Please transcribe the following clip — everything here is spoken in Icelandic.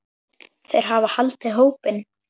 Þeir hafa haldið hópinn.